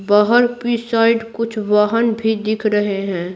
बाहर की साइड कुछ वाहन भी दिख रहे हैं।